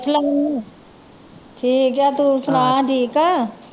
ਸਲਾਮ ਠੀਕ ਹਾਂ ਤੂੰ ਸੁਣਾ ਠੀਕ ਆਂ